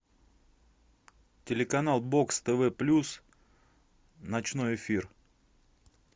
телеканал бокс тв плюс ночной эфир